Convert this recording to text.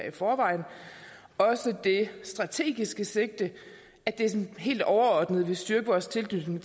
i forvejen og også det strategiske sigte at det sådan helt overordnet vil styrke vores tilknytning